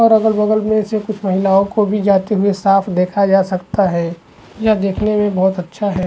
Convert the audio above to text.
और अगल - बगल में से कुछ महिलाओं को भी जाते हुए साफ देखा जा सकता है यह देखने में बहुत अच्छा है।